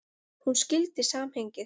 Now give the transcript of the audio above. Hún skildi samhengið.